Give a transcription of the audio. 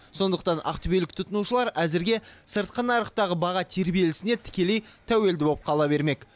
сондықтан ақтөбелік тұтынушылар әзірге сыртқы нарықтағы баға тербелісіне тікелей тәуелді болып қала бермек